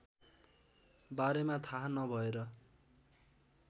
बारेमा थाहा नभएर